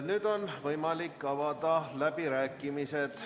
Nüüd on võimalik avada läbirääkimised.